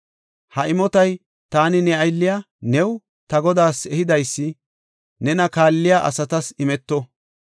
Ha imotay taani ne aylliya new, ta godaas ehidaysi nena kaalliya asatas imeto.